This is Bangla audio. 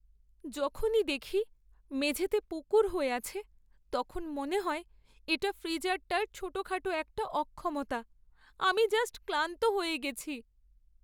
যখনই দেখি মেঝেতে পুকুর হয়ে আছে তখন মনে হয় এটা ফ্রিজারটার ছোটখাটো একটা অক্ষমতা! আমি জাস্ট ক্লান্ত হয়ে গেছি।